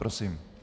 Prosím.